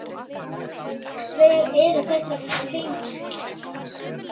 Hver eru þessi tengsl?